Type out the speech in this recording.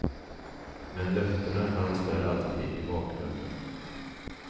Men löftena fanns där alltid i bakgrunden.